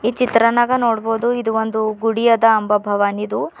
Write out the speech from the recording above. ಈ ಚಿತ್ರನ್ಯಾಗ ನೋಡ್ಬೋದು ಇದೊಂದು ಗುಡಿ ಅದ ಅಂಬಾಭವಾನಿದು.